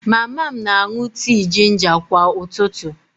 Mama m na-aṅụ tii jinja kwa ụtụtụ